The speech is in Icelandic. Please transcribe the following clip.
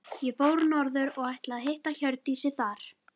Ég fór norður og ætlaði að hitta Hjördísi þar.